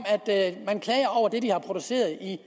at man klager over det de har produceret i